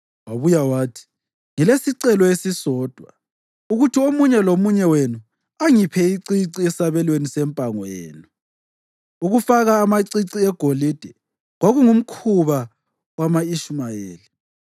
Wabuya wathi, “Ngilesicelo esisodwa, ukuthi omunye lomunye wenu angiphe icici esabelweni sempango yenu.” (Ukufaka amacici egolide kwakungumkhuba wama-Ishumayeli.)